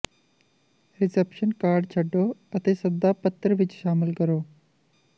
reception card ਛੱਡੋ ਅਤੇ ਸੱਦਾ ਪੱਤਰ ਵਿਚ ਸ਼ਾਮਲ ਕਰੋ